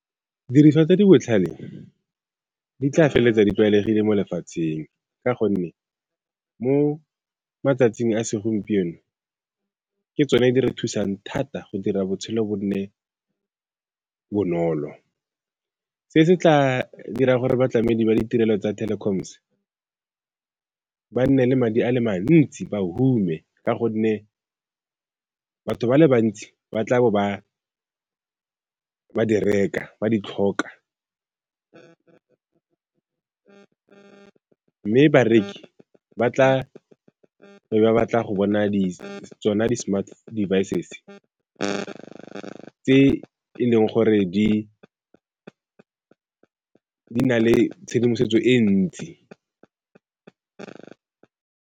Didiriswa tse di botlhale di tla feleletsa di tlwaelegile mo lefatsheng ka gonne mo matsatsing a segompieno ke tsone di re thusang thata go dira botshelo bo nne bonolo. Se se tla dirang gore batlamedi ba ditirelo tsa telecoms ba nne le madi a le mantsi, ba hume ka gonne batho ba le bantsi ba tla bo ba di reka, ba di tlhoka, mme bareki ba tla be ba batla go bona di tsona di tse, tse e leng gore di na le tshedimosetso e ntsi.